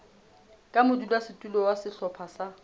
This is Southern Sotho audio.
ka modulasetulo wa sehlopha sa